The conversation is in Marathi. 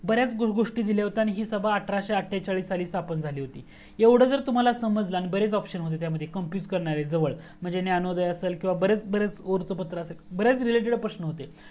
बर्‍याच गोस्टी दिल्या होत्या आणि ही सभा आठराशे आटेचाळीस ला स्थापन झाली होती एवढा जर तुम्हाला समजला तर बरेच ऑप्शन त्या मध्ये होते जवळ जसे ज्ञांनोदय बर्‍याच related प्रश्न होते